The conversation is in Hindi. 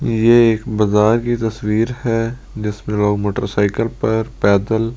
ये एक बाजार की तस्वीर है जिसमें लोग मोटरसाइकिल पर पैदल--